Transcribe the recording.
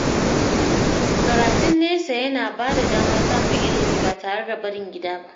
Karatun nesa yana ba da damar samun ilimi ba tare da barin gida ba.